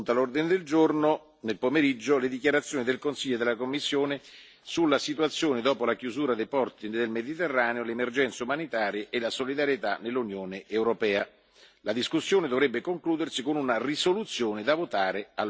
Mercoledì Il gruppo dei Verdi ha proposto di aggiungere come secondo punto all'ordine del giorno del pomeriggio le dichiarazioni del Consiglio e della Commissione sulla Situazione dopo la chiusura dei porti del Mediterraneo, le emergenze umanitarie e la solidarietà nell'Unione europea.